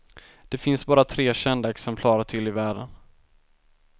Det finns bara tre kända exemplar till i världen.